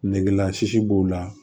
Negela sisi b'u la